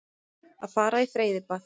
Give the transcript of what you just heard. Að fara í freyðibað.